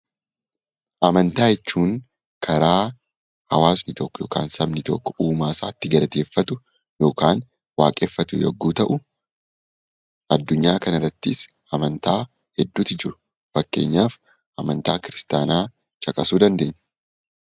Amantaa jechuun karaa hawaasni tokko yookaan sabni tokko uumaasaa itti galateeffatu, yookaan waaqeffatu yogguu ta'u, adunyaa kanarrattis amantaa hedduutu jiru . Fakkeenyaaf amantaa kiristaanaa caqasuu dandeenya.